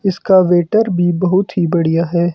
इसका वेटर भी बहुत ही बढ़िया है।